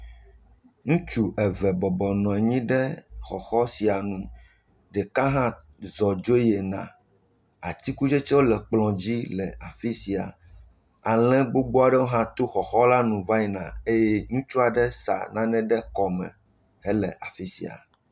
Ŋutsu eve bɔbɔnɔ anyi ɖe xɔxɔ sia nu. Ɖeka hã zɔ dzo yina. Atikutsetsewo le kplɔ dzi le afi sia. Ale gbogbo aɖewo hã to xɔxɔ la nu va yina eye ŋutsu aɖe sa nane ɖe kɔme hele afi sia.